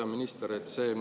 Hea minister!